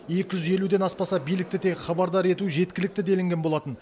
екі жүз елуден аспаса билікті тек хабардар ету жеткілікті делінген болатын